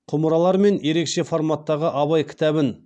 құмыралар мен ерекше форматтағы абай кітабын